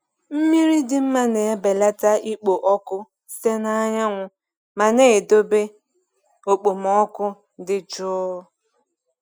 Mmiri dị mma na-ebelata ikpo ọkụ site na anyanwụ ma na-edobe okpomọkụ dị jụụ.